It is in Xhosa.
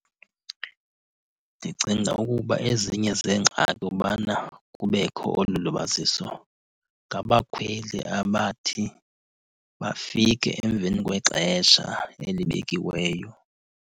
Ndicinga ukuba ezinye zeengxaki ubana kubekho olu libaziso ngabakhweli abathi bafike emveni kwexesha elibekiweyo.